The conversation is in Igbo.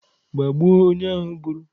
Gbagbuo onye ahụ gburu!